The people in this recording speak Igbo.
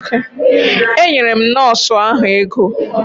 Enyere m nọọsụ ahụ ego.